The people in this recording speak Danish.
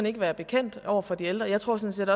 ikke være bekendt over for de ældre og jeg tror sådan